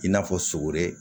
I n'a fɔ sogore